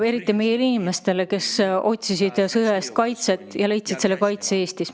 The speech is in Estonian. Eriti tänulik olen selle eest, kuidas te aitasite meie inimesi, kes otsisid kaitset sõja eest ja leidsid selle Eestis.